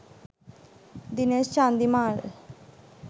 dinesh chandimal